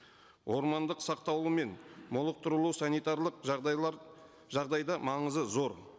ормандық сақталуы мен молықтыруы санитарлық жағдайлар жағдайда маңызы зор